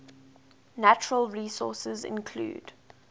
natural resources include